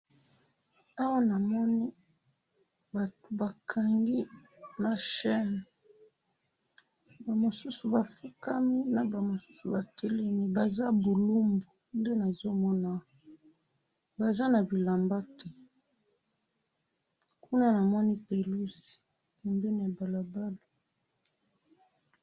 Awa namoni batu bakangi na chaîne, ba mosusu ba fukami ba mosusu ba telemi, baza bulumbu, nde nazo mona awa, baza na bilamba te, kuna na moni pelouse pembeni ya balabala